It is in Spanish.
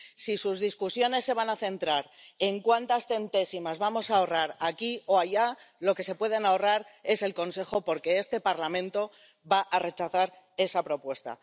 Si sus discusiones se van a centrar en cuántas centésimas vamos a ahorrar aquí o allá, lo que se pueden ahorrar es el Consejo, porque este Parlamento va a rechazar esa propuesta.